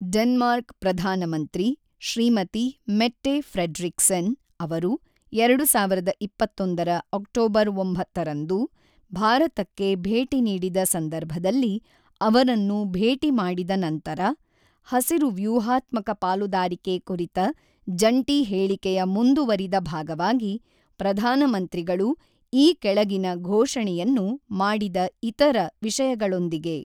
Denmark ಪ್ರಧಾನಮಂತ್ರಿ ಶ್ರೀಮತಿ Mette Frederiksen ಅವರು ಎಋಡು ಸಾವಿರದ ಇಪ್ಪತ್ತೊಂದರ ಅಕ್ಟೋಬರ್ ಒಂಬತ್ತರಂದು ಭಾರತಕ್ಕೆ ಭೇಟಿ ನೀಡಿದ ಸಂದರ್ಭದಲ್ಲಿ ಅವರನ್ನು ಭೇಟಿ ಮಾಡಿದ ನಂತರ, ಹಸಿರು ವ್ಯೂಹಾತ್ಮಕ ಪಾಲುದಾರಿಕೆ ಕುರಿತ ಜಂಟಿ ಹೇಳಿಕೆಯ ಮುಂದುವರಿದ ಭಾಗವಾಗಿ, ಪ್ರಧಾನ ಮಂತ್ರಿಗಳು ಈ ಕೆಳಗಿನ ಘೋಷಣೆಯನ್ನು ಮಾಡಿದ ಇತರ ವಿಷಯಗಳೊಂದಿಗೆ